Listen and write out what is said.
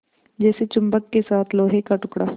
जैसे चुम्बक के साथ लोहे का टुकड़ा